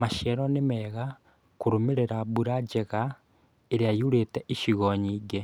Maciaro nĩ mega kũrũmĩrĩra mbura njega ĩrĩa yurĩte icigo nyingĩ